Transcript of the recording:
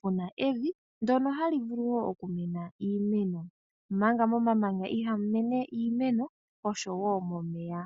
puna evi ndyono hali vulu okumena iimeno omanga momamanya ihamu mene iimeko osho wo momeya.